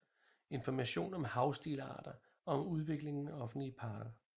Information om havestilarter og om udviklingen af offentlige parker